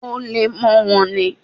Ó le mọ́ wọn ní.